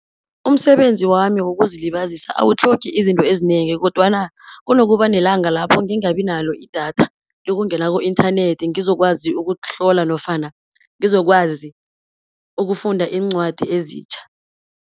Umsebenzi wami wokuzilibazisa awutlhogi izinto ezinengi, kodwana kunokuba nelanga lapho ngingabi nalo idatha lokungena ku-inthanethi, ngizokwazi ukutlola nofana ngizokwazi ukufunda iincwadi ezitjha.